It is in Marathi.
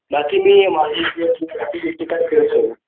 बाकी मी